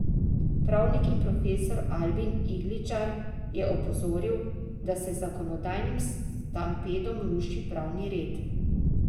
Pravnik in profesor Albin Igličar je opozoril, da se z zakonodajnim stampedom ruši pravni red.